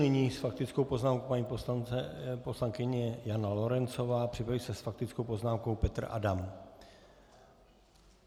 Nyní s faktickou poznámkou paní poslankyně Jana Lorencová, připraví se s faktickou poznámkou Petr Adam.